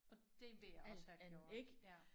Og det ville jeg også have gjort ja